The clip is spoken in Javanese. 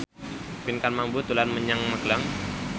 Pinkan Mambo dolan menyang Magelang